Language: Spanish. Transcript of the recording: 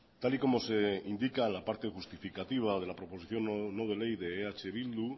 tal y como se indica la parte justificativa de la proposición no de ley de eh bildu